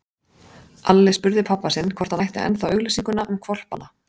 Alli spurði pabba sinn hvort hann ætti ennþá auglýsinguna um hvolpana.